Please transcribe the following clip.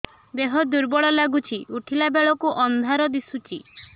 ଦେହ ଦୁର୍ବଳ ଲାଗୁଛି ଉଠିଲା ବେଳକୁ ଅନ୍ଧାର ଦିଶୁଚି